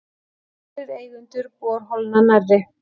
Nokkrir eigendur borholna nærri